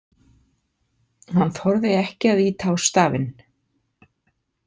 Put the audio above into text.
Hann þorði ekki að ýta á stafinn.